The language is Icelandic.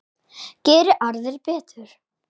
Geri aðrir betur!